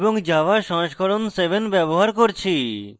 এবং java সংস্করণ 7 ব্যবহার করছি